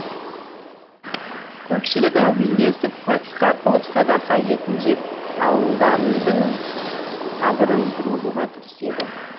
көпшілік әумин десіп патиқа қылып садақа етін жеп алдардың қабырын тұрғызуға кіріседі